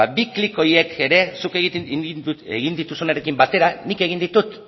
ba bi klik horiek ere zuk egin dituzunarekin batera nik egin ditut